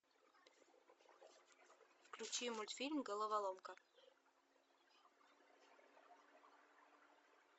включи мультфильм головоломка